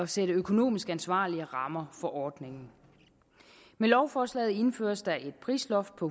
sætte økonomisk ansvarlige rammer for ordningen med lovforslaget indføres der et prisloft på